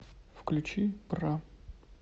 включи бра